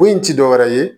Bon in ti dɔwɛrɛ ye